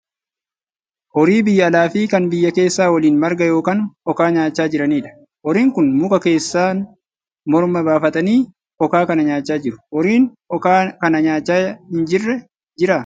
Horii biyya alaa fi kan biyya keessa waliin marga yookaan okaa nyaachaa jiranidha. Horiin Kun muka keessan morma baafatanii okaa kana nyaachaa jiru. Horiin okaa kana nyaachaa hin jirre jiraa?